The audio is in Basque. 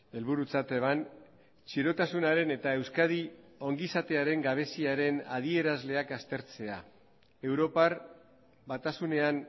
helburutzat eban txirotasunaren eta euskadi ongizatearen gabeziaren adierazleak aztertzea europar batasunean